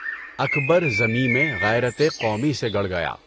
اکبرؔ زمیں میں غیرتِ قومی سے گڑ گیا